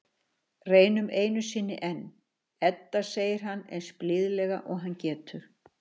Reynum einu sinni enn, Edda, segir hann eins blíðlega og hann getur.